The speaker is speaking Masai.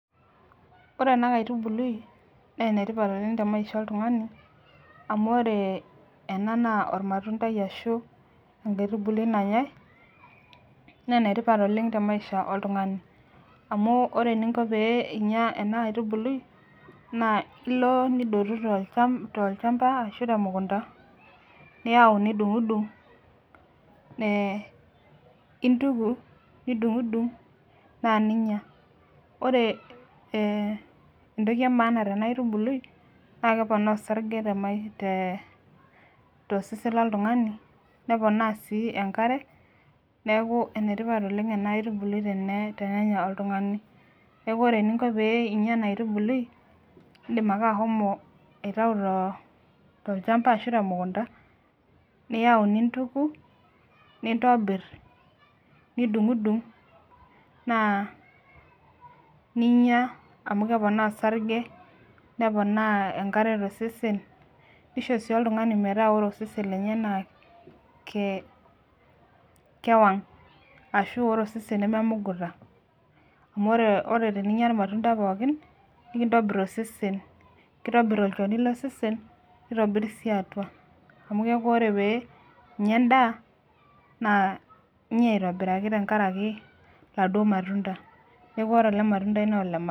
Ore ena kaitubului naa ene tipat oleng te maisha oltungani, amu ore ena naa ilmatundai ashu enkaitubului nanyae, naa ene tipat oleng te maisha oltungani amu ore eninko teninyia ena aitubului naa ilo nidotu tolchampa, ashu te mukunta. niyau nidungidung, nintuki nidungidung naa ninyia. ore entoki emaana tena aitubului naa keponaa osarge tosesen loltunngani neponaa sii enkare, neeku ene tipat oleng ena aitubului tenenya oltungani. neeku ore eninko teninyia ena aitubului, idim ake ashomo aitayu tolchampa ashu te mukunta. niyau nintuku. nintobir, nidungidung naa ninyia amu keponaa osarge, neponaa enkare tosesen. nisho sii oltungani metaa ore osesen lenye naa kewang' ashu ore osesen nememuguta. amu ore teninyia ilmatunda pookin. nikintobir osesen. kitobit olchoni losesen. nitobir sii atua. Amu keeku ore pee inyia edaaa inyia aitobiraki. tenkaraki oladuoo matunda. neeku ore ele matundai naa ole maana